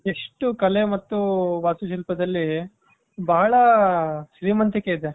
ಎಷ್ಟು ಕಲೆ ಮತ್ತು ವಾಸ್ತು ಶಿಲ್ಪದಲ್ಲಿ ಬಹಳ ಶ್ರೀಮಂತಿಕೆ ಇದೆ.